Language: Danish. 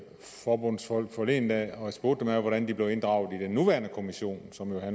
forbundsfolk forleden dag og jeg spurgte dem hvordan de blev inddraget i den nuværende kommission som jo